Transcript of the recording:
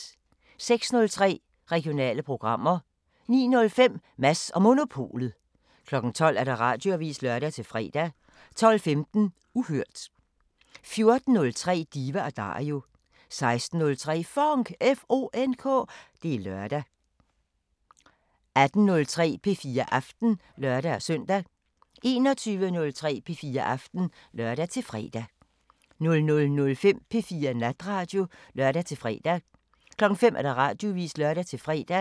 06:03: Regionale programmer 09:05: Mads & Monopolet 12:00: Radioavisen (lør-fre) 12:15: Uhørt 14:03: Diva & Dario 16:03: FONK! Det er lørdag 18:03: P4 Aften (lør-søn) 21:03: P4 Aften (lør-fre) 00:05: P4 Natradio (lør-fre) 05:00: Radioavisen (lør-fre)